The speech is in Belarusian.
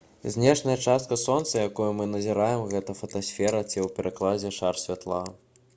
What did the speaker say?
знешняя частка сонца якую мы назіраем — гэта фотасфера ці ў перакладзе «шар святла»